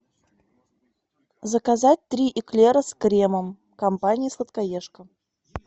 заказать три эклера с кремом компания сладкоежка